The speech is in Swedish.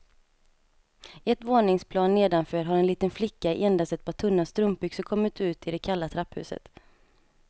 Ett våningsplan nedanför har en liten flicka i endast ett par tunna strumpbyxor kommit ut i det kalla trapphuset.